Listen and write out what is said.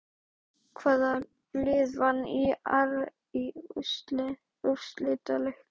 Hvaða lið vann ÍR í úrslitaleiknum?